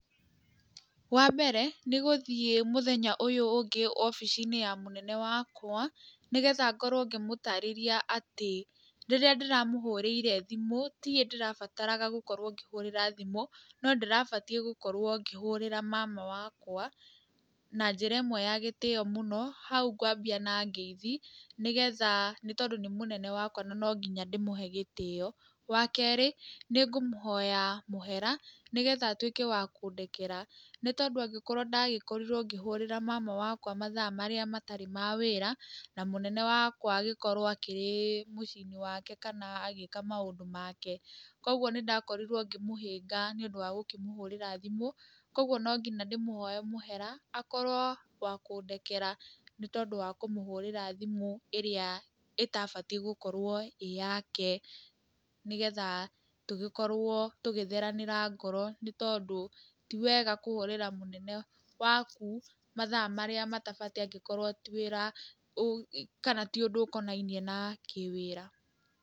Wambere, nĩgũthiĩ mũthenya ũyũ ũngĩ obici-inĩ ya mũnene wakwa, nĩgetha ngorwo ngĩmũtarĩria atĩ rĩrĩa ndĩramũhũrĩire thimũ, tiwe ndĩrabataraga gũkorwo ngĩhũrĩra thimũ, no ndĩrabatiĩ gũkorwo ngĩhũrĩra mama wakwa, na njĩra ĩmwe ya gĩtĩo mũno, hau ngwambia na ngeithi, nĩgetha nĩtondũ nĩ mũnene wakwa nonginya ndĩmũhe gĩtĩo, wa kerĩ, nĩngũmũhoya mũhera, nĩgetha atuĩke wa kũndekera, nĩtondũ angĩkorwo ndagĩkorirwo ngĩhũrĩra mama wakwa mathaa marĩa matarĩ ma wĩra, na mũnene wakwa agĩkorwo akĩrĩ mũciĩ-inĩ wake kana agĩka maũndũ make, koguo nĩndakorirwo ngĩmũhĩnga, nĩũndũ wa gũkĩmũhũrĩra thimũ, koguo nonginya ndĩmũhoe mũhera, akorwo wa kũndekera nĩtondũ wa kũmũhũrĩra thimũ ĩrĩa ĩtabatiĩ gũkorwo ĩyake, nĩgetha tũgĩkorwo tũgĩtheranĩra ngoro nĩtondũ ti wega kũhũrĩra mũnene waku mathaa marĩa matabatiĩ angĩkorwo ti wĩra kana ti ũndũ ũkonainie na kĩwĩra.